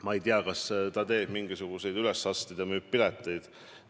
Ma ei tea, kas ta teeb mingisuguseid ülesastumisi ja müüb pileteid.